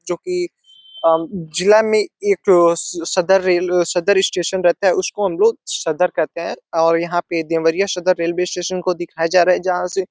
जोकि अ जिला में एक सदर रेलवे सदर स्टेशन रहता है। उसको हम लोग सदर कहते हैं और यहाँ एक देवरिया सदर रेलवे स्टेशन को दिखाया जा रहा है जहाँ से --